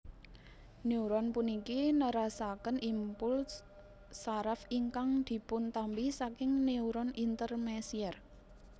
Neuron puniki nerasaken implus saraf ingkang dipuntampi saking neuron Intermesier